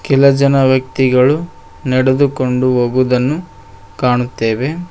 ಕೆಲ ಜನ ವ್ಯಕ್ತಿಗಳು ನಡೆದುಕೊಂಡು ಹೋಗುದನ್ನು ಕಾಣುತ್ತೇವೆ.